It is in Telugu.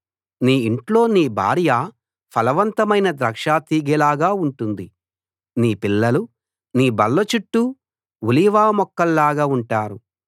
నీ ఇంట్లో నీ భార్య ఫలవంతమైన ద్రాక్షాతీగెలాగా ఉంటుంది నీ పిల్లలు నీ బల్ల చుట్టూ ఒలీవ మొక్కల్లాగా ఉంటారు